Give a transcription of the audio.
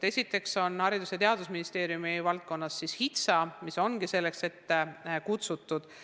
Esiteks, Haridus- ja Teadusministeeriumi valdkonnas on HITSA, mis ongi selleks ellu kutsutud.